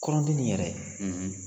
Kɔrɔnti nin yɛrɛ